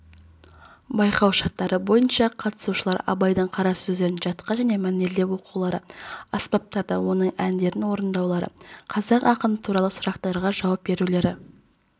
байқау шарттары бойынша қатысушылар абайдың қара сөздерін жатқа және мәнерлеп оқулары аспаптарда оның әндерін орындаулары қазақ ақыны туралы сұрақтарға жауап берулері